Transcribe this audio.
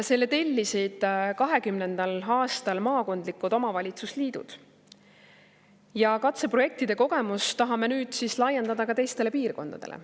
Selle tellisid 2020. aastal maakondlikud omavalitsusliidud ja katseprojektide kogemust tahame nüüd laiendada ka teistele piirkondadele.